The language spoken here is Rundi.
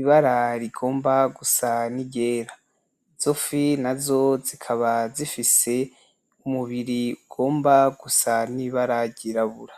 ibara rigomba gusa niryera izofi nazo zikaba zifise umubiri ugomba gusa nibara ryirabura